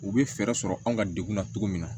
U bɛ fɛɛrɛ sɔrɔ anw ka degun na cogo min na